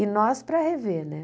E nós para rever né.